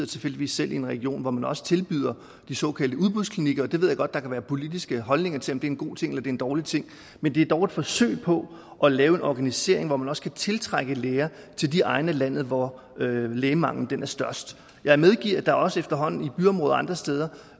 tilfældigvis selv i en region hvor man også tilbyder de såkaldte udbudsklinikker jeg ved godt at der kan være politiske holdninger til en god ting eller en dårlig ting men det er dog et forsøg på at lave en organisering hvor man også kan tiltrække læger til de egne af landet hvor lægemanglen er størst jeg medgiver at der også efterhånden i byområder andre steder